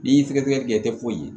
N'i y'i sɛgɛsɛgɛ i tɛ foyi ye